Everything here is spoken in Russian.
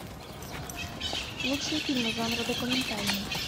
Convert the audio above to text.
лучшие фильмы жанра документальный